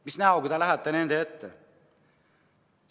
Mis näoga te lähete inimeste ette?